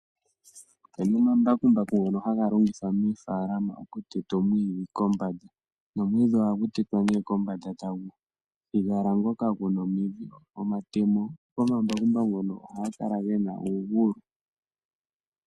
Opuna omambakumbaku ngono haga longithwa moofaalama okutetwa omwiidhi kombanda, nomwiidhi ohagu tetwa kombanda taku thigala ngoka guna omidhi. Omatemo gomambakumbaku ngono ohaga kala gena uugulu.